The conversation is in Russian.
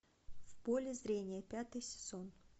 в поле зрения пятый сезон